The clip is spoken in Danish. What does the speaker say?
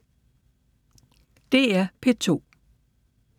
DR P2